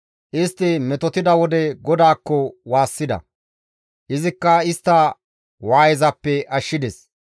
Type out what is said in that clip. Istti metotida wode GODAAKKO waassida; izikka istta waayezappe ashshides.